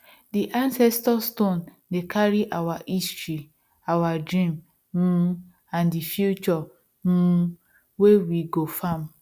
di ancestor stone dey carry our history our dreams um and di future um wey we go farm